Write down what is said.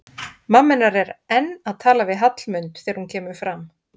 Mamma hennar er enn að tala við Hallmund þegar hún kemur fram.